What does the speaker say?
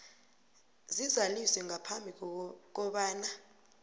zizaliswe ngaphambi kobana